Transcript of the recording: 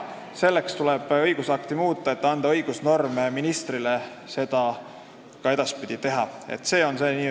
Selleks, et õigusnorm võimaldaks ministril seda edaspidi teha, tuleb õigusakti muuta.